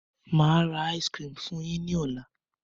Máa ra "ice cream" fun yin ni ọ̀la.